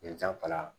Ye janfa